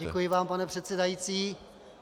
Děkuji vám, pane předsedající.